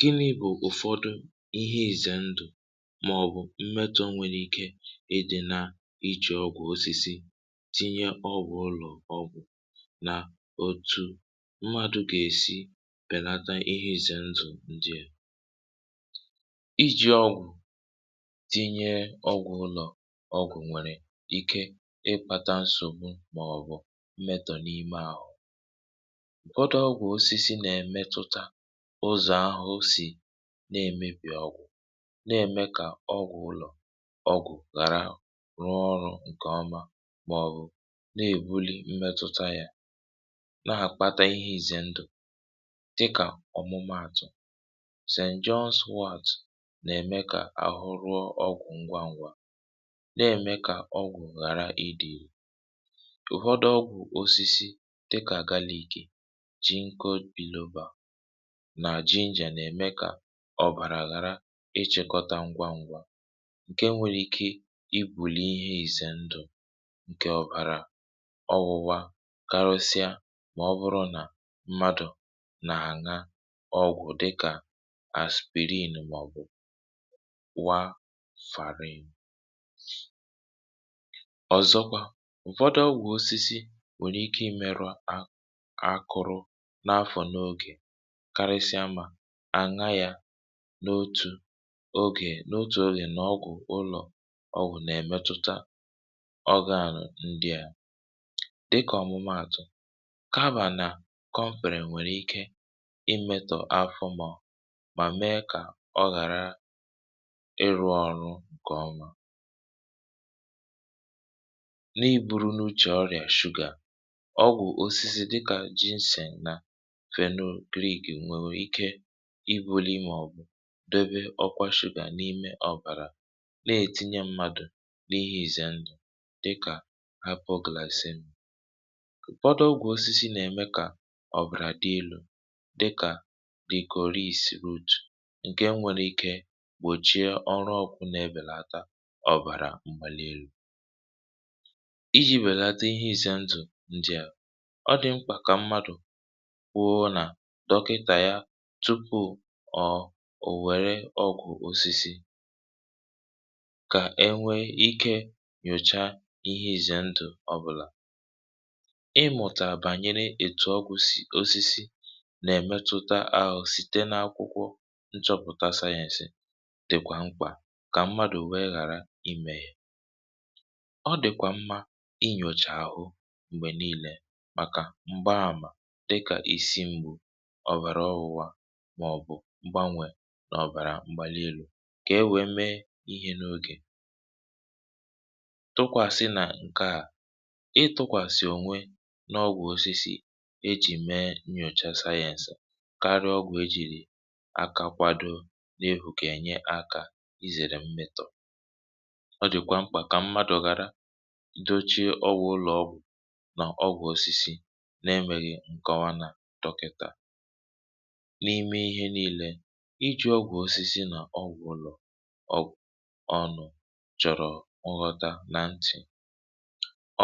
gịnị bụ̀ ụ̀fọdụ ihe izè ndụ̀ màọ̀bụ̀ mmetọ̇ nwèrè ike ị dị̇ nà ichè ọgwụ̀ osisi tinye ọgwụ̀ ụlọ̀ ọgwụ̀ na otu̇ mmadụ̇ gà-èsi pènata ihe izè ndụ̀ ǹdìè iji̇ ọgwụ̀ tinye ọgwụ̀ ụlọ̀ ọgwụ̀ nwèrè ike ǹfọdụ ọgwụ̀ osisi nà- èmetụta ụzọ̀ ahụ̀ si na-èmebì ọgwụ̀ nà-ème kà ọgwụ̀ ụlọ̀ ọgwụ̀ ghàra rụọ ọrụ̇ ǹkè ọma màọ̀bụ̀ na-èbuli mmetụta yȧ nà-àkpata ihe ǹzè ndụ̀ dịkà ọ̀mụmụ̇ àtụ̀ st and john smiths nà-ème kà àhụ rụọ ọgwụ̀ ngwangwa nà-ème kà ọgwụ̀ ghàra idi̇ osisi dịkà àgbalị̇ ikė ji nko biuba nà ji njè nà-ème kà ọ̀bàrà àghàra ịchị̇kọta ngwa ngwa ǹke nwere ike ibùli ihe ìzè ndụ̀ ǹke ọ̀bàrà ọ wụwa karụsịa um mà ọ bụrụ nà mmadụ̀ nà-àna ọgwụ̀ dịkà aspirin màọbụ̀ wa fàrir ọ̀zọkwa ụ̀fọdụ ọgwụ̀ osisi akụrụ n’afọ̀ n’ogè karịsịa mà à na yà n’otù ogè n’otù ogè n’ ọgwụ̀ ụlọ̀ ọgwụ̀ nà-èmetutȧ ọ gàlà ndịà dịkà ọ̀mụmaàtụ̀ kabà nà kọfèrè nwèrè ike imėtò afụmọ̀ mà mee kà ọ ghàra ịrụ̇ ọrụ ǹkè ọma ọgwụ̀ osisi dịkà jinse nà fenyel griik nwèrè ike ibuli imè ọ̀bụ̀ dobe ọkwa shụbà n’ime ọ̀bàrà nà-ètinye mmadụ̀ n’ihe ìzì ndụ̀ dịkà apụ̀grazị̀mụ̀ ụ̀fọdụ ọgwụ̀ osisi nà-ème kà ọ̀bàrà dị ilu̇ dịkà dịkà ìkòrii sì route ǹke nwere ike gbòchie ọrụ ọkụ̇ nà-ebèlàtà ọ̀bàrà mmà lelu̇ ọ dị̀ mkpà kà mmadụ̀ kwụọ nà dọ̀kịtà ya tupuù ọ̀ ò wère ọgwụ̀ osisi kà e nwee ike nyòcha ihe izè ndụ̀ ọbụlà um ị mụ̀tà bànyere ètù ọgwụ̀sị̀ osisi nà-èmetuta àhụ̀ site n’akwụkwọ nchọ̇pụ̀ta sayẹ̀nsi dị̀kwà mkpà kà mmadụ̀ wee ghàra imėyè ọ dị̀kwà mmȧ dịkà isiṁgbù ọ̀bàrà ọwụ hȧ màọ̀bụ̀ mgbanwè nà ọ̀bàrà mgbà n’elu̇ kà e wèe mee ihe n’ogè tụkwàsị nà ǹkè a ị tụkwàsị ònwe n’ ọgwụ̀ osisi ejì mee nyòcha sayẹ̇sị̀ karịa ọgwụ̇ ejìrì aka kwado n’ efùke enye akȧ izèrè mmị̇tȯ ọ dị̀kwà mkpà kà mmadụ̇ gara na-emeghi ǹkọwa nà dọkịtà n’ime ihe niilė iji̇ ọgwụ̀ osisi nà ọ wụ̀ ụlọ̀ ọ ọnụ̀ chọ̀rọ̀ nghọta nà ntị̀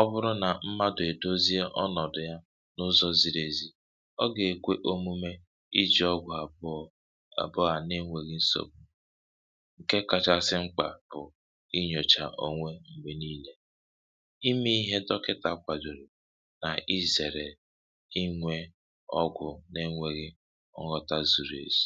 ọ bụrụ nà mmadụ̀ èdozie ọnọ̀dụ̀ ya n’ụzọ̇ ziri ezì ọ gà-èkwe omume iji̇ ọgwụ̀ àbụọ à na-enwėghi nsògbu ǹke kachasị mkpà bụ̀ inyòcha onwe m̀gbè niilė imė ihe tọkịtà kwàjòrì ọgwụ̇ nà-enwėghi ọ̀ghọta zuru esì.